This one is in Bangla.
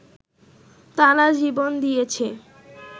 তারা জীবন দিয়েছে